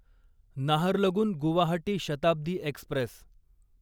Naharlagun Guwahati Shatabdi Express